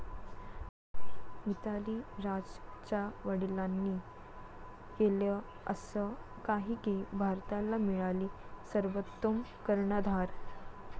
मिताली राजच्या वडिलांनी केलं असं काही की भारताला मिळाली सर्वोत्तम कर्णधार